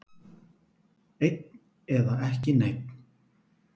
Einn eða ekki einn.